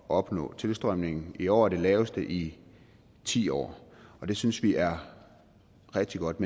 opnå tilstrømningen i år er den laveste i ti år og det synes vi er rigtig godt